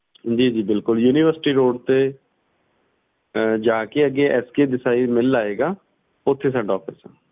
ਜੀ ਜੀ ਬਿਲਕੁਲ universityroad ਜਾ ਕੇ ਅੱਗੇ SKDesai ਆਏਗਾ ਓਥੇ ਸਾਡਾ Office